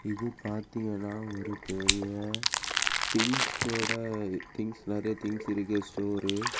இத பாத்தீங்கன்னா ஒரு பெரிய திங்ஸ் ஓட திங்ஸ் நெறைய திங்ஸ் இருக்கிற ஸ்டோரு .